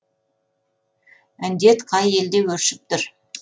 індет қай елде өршіп тұр